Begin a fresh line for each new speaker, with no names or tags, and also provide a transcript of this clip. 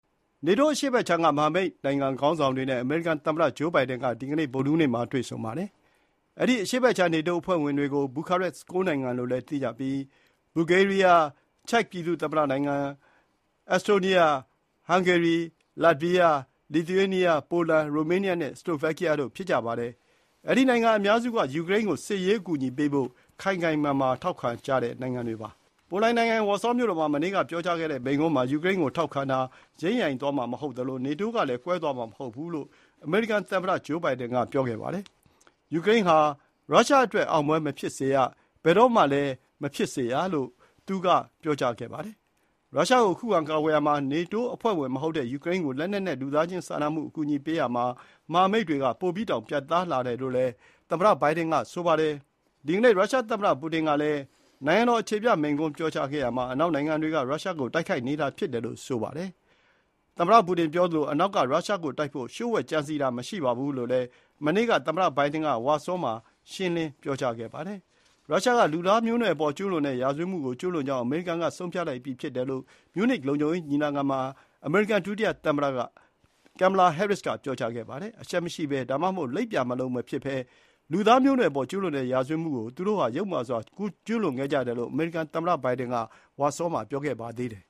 နေတိုး အရှေ့ဘက်ခြမ်းက မဟာမိတ်နိုင်ငံ ခေါင်းဆောင်တွေနဲ့ အမေရိကန် သမ္မတဂျိုးဘိုင်ဒင်က ဒီနေ့ ဗုဒ္ဓဟူးနေ့မှာ တွေ့ဆုံပါတယ်။ အဲဒီ အရှေ့ဘက်ခြမ်း နေတိုးအဖွဲ့ဝင်တွေကို ဘူခါရက် ၉ နိုင်ငံလို့လည်း သိကြပြီး ဘူဂေးရီးယား၊ ချက်ဇ်ပြည်သူ့သမ္မတနိုင်ငံ၊ အက်စတိုးနီးယား၊ ဟန်ဂေရီ၊ လတ်ဗီးယား၊ လစ်သူရေးနီးယား၊ ပိုလန်၊ ရိုမေးနီးယား၊ စလိုဗက်ကီးယားတို့ ဖြစ်ကြပါတယ်။ အဲဒီ နိုင်ငံအများစုက ယူကရိန်းကို စစ်ရေးအကူအညီပေးဖို့ ခိုင်ခိုင်မာမာ ထောက်ခံကြတဲ့ နိုင်ငံတွေပါ။ ပိုလန်နိုင်ငံ ဝါဆောမြို့တော်မှာ မနေ့က ပြောကြားခဲ့တဲ့မိန့်ခွန်းမှာ ယူကရိန်းကို ထောက်ခံတာ ယိမ်းယိုင်သွားမှာ မဟုတ်သလို နေတိုးကလည်း ကွဲသွားမှာ မဟုတ်ဘူးလို့ အမေရိကန် သမ္မတဂျိုးဘိုင်ဒင်က ပြောခဲ့ပါတယ်။ ယူကရိန်းဟာ ရုရှားအတွက် အောင်ပွဲမဖြစ်စေရ၊ ဘယ်တော့မှ မဖြစ်စေရလို့လည်း သူက ဆိုပါတယ်။ ရုရှားကို ခုခံကာကွယ်ရာမှာ နေတိုး အဖွဲ့ဝင်မဟုတ်တဲ့ ယူကရိန်းကို လက်နက်နဲ့ လူသားချင်းစာနာမှု အကူအညီပေးရာမှာ မဟာမိတ်တွေက ပိုပြီးတောင် ပြတ်သားလာတယ်လို့ ဘိုင်ဒင်က ပြောပါတယ်။ မနေ့က ရုရှား သမ္မတပူတင်ကလည်း နိုင်ငံတော် အခြေပြမိန့်ခွန်းပြောကြားခဲ့ရာမှာ အနောက်နိုင်ငံတွေက ရုရှားကို တိုက်ခိုက်နေတာ ဖြစ်တယ်လို့ ဆိုပါတယ်။ ပူတင်ပြောသလို၊ အနောက်က ရုရှားကိုတိုက်ဖို့ လျှို့ဝှက်ကြံစည်တာမရှိဘူးလို့လည်း မနေ့က သမ္မတဘိုင်ဒင်က ဝါဆောမှာ ရှင်းလင်းပြောကြားခဲ့ပါတယ်။ ရုရှားက လူသားမျိုးနွယ်အပေါ် ကျူးလွန်တဲ့ ရာဇဝတ်မှုကို ကျူးလွန်ခဲ့ကြောင်း အမေရိကန်က ဆုံးဖြတ်လိုက်ပြီး ဖြစ်တယ်လို့ မြူးနစ်လုံခြုံရေး ညီလာခံမှာ အမေရိကန် ဒုတိယသမ္မတ Kamala Harris က ပြောကြားခဲ့ပါတယ်။ အရှက်မရှိဘဲ ဒါမှမဟုတ် လိပ်ပြာမလုံ မဖြစ်ဘဲ လူသားမျိုးနွယ်အပေါ် ကျူးလွန်တဲ့ ရာဇဝတ်မှုကို သူတို့ဟာ ယုတ်မာစွာ ကျူးလွန်ခဲ့ကြတယ်လို့ အမေရိကန်သမ္မတဘိုင်ဒင်က ဝါဆောမှာ ပြောကြားခဲ့ပါသေးတယ်